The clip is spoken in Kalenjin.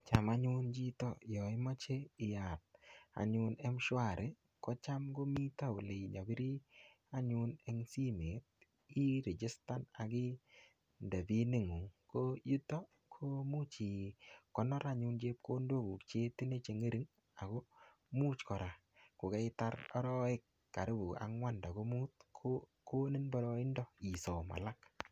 Cham anyun chito, yaimeche iyat anyun mshwari, kocham komite kole inyapiri anyun eng simet. Irichstan akinde pinit ng'ung. Ko yutok, imuch ikonor anyun chepkondok cheitinye che ng'ering'. Ako much kora, kokaitar arawek karibu angwan ndako mut, ko konin boroindo isom alak.